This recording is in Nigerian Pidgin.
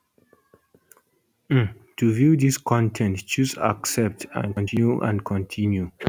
um to view dis con ten t choose accept and continue and continue